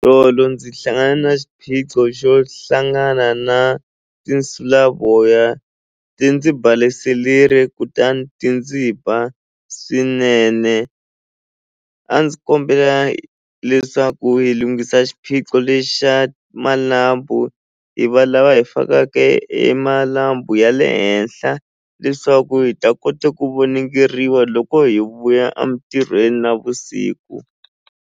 Tolo ndzi hlangane na xiphiqo xo hlangana na tinsulavoya ti ndzi kutani ti ndzi ba swinene a ndzi kombela leswaku hi lunghisa xiphiqo lexa malambhu hi va lava hi fakaka e malambhu ya le henhla leswaku hi ta kota ku voningeriwa loko hi vuya a mintirhweni navusiku.